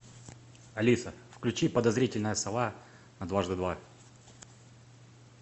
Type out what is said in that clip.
алиса включи подозрительная сова на дважды два